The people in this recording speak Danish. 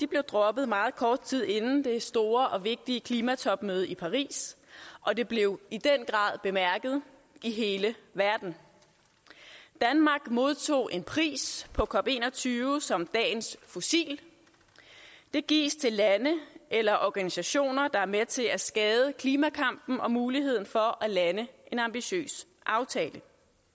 blev droppet meget kort tid inden det store og vigtige klimatopmøde i paris og det blev i den grad bemærket i hele verden danmark modtog en pris på cop21 som dagens fossil den gives til lande eller organisationer der er med til at skade klimakampen og muligheden for at lande en ambitiøs aftale